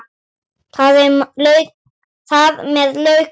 Þar með lauk málinu.